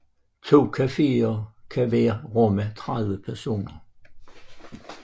To cafeer kan hver rumme 30 personer